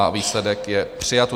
A výsledek je: přijato.